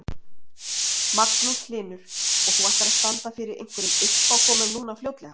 Magnús Hlynur: Og þú ætlar að standa fyrir einhverjum uppákomum núna fljótlega?